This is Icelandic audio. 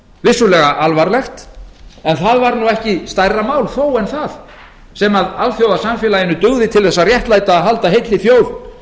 vissulega alvarlegt en það var nú ekki stærra mál þó en það sem alþjóðasamfélaginu dugði til þess að réttlæta að halda heilli þjóð